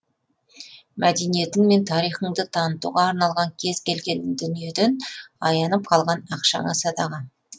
мәдениетің мен тарихыңды танытуға арналған кез келген дүниеден аянып қалған ақшаңа садаға